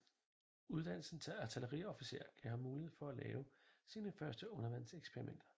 Uddannelsen til artilleriofficer gav ham mulighed for at lave sine første undervandseksperimenter